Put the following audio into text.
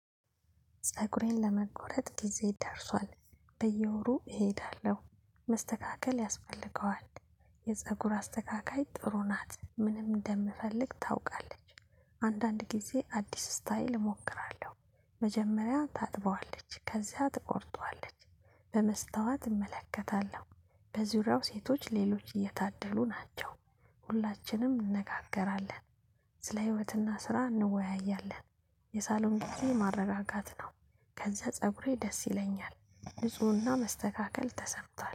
ፀጉሬን ለመቆረጥ ጊዜ ደርሷል። በየወሩ እሄዳለሁ። መስተካከል ያስፈልገዋል። የፀጉር አስተካካይ ጥሩ ናት ምንም እንደምፈልግ ታውቃለች። አንዳንድ ጊዜ አዲስ ስታየል እሞክራለሁ። መጀመሪያ ታጥበዋለች ከዚያ ትቆርጠዋለች። በመስታዋት እመለከታለሁ። በዙሪያው ሴቶች ሌሎች እየታደሉ ናቸው። ሁላችንም እንነጋገራለን። ስለ ህይወትና ስራ እንወያያለን። የሳሎን እሱ ማረጋጋት ነው። ከዛ ፀጉሬ ደስ ይለኛል ንፁህና መስተካከል ተሰጥቷል